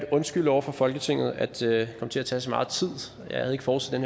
undskylde over for folketinget at det kom til at tage så meget tid jeg havde ikke forudset